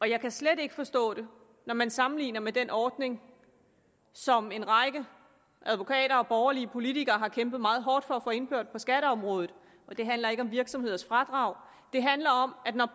jeg kan slet ikke forstå det når man sammenligner med den ordning som en række advokater og borgerlige politikere har kæmpet meget hårdt for at få indført på skatteområdet og den handler ikke om virksomheders fradrag den handler om at når